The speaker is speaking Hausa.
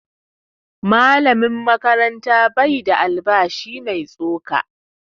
Malamin makaranta ba shi da albashi mai tsoka